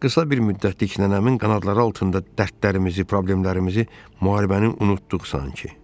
Qısa bir müddətlik nənəmin qanadları altında dərdlərimizi, problemlərimizi, müharibəni unutduq sanki.